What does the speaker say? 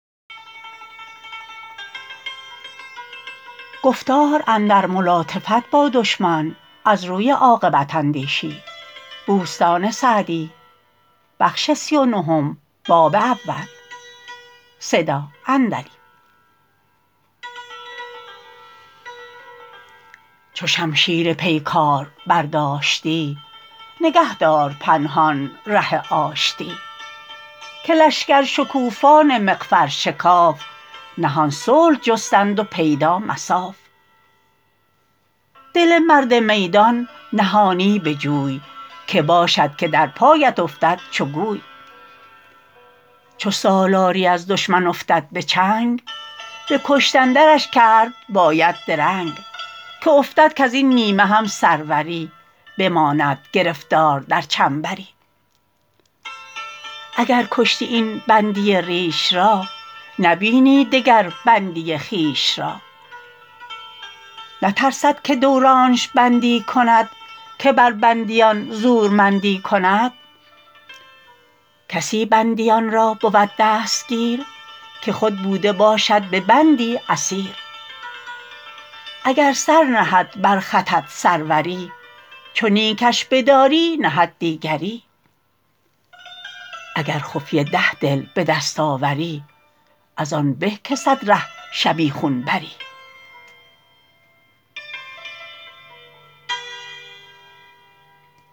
چو شمشیر پیکار برداشتی نگه دار پنهان ره آشتی که لشکر شکوفان مغفر شکاف نهان صلح جستند و پیدا مصاف دل مرد میدان نهانی بجوی که باشد که در پایت افتد چو گوی چو سالاری از دشمن افتد به چنگ به کشتن درش کرد باید درنگ که افتد کز این نیمه هم سروری بماند گرفتار در چنبری اگر کشتی این بندی ریش را نبینی دگر بندی خویش را نترسد که دورانش بندی کند که بر بندیان زورمندی کند کسی بندیان را بود دستگیر که خود بوده باشد به بندی اسیر اگر سر نهد بر خطت سروری چو نیکش بداری نهد دیگری اگر خفیه ده دل بدست آوری از آن به که صد ره شبیخون بری